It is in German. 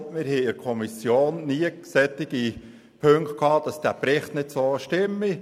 Wir hörten in der Kommission nie entsprechende Aussagen, wonach der Bericht nicht stimme.